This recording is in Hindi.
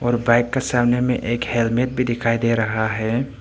और बाइक के सामने में एक हेलमेट भी दिखाई दे रहा है।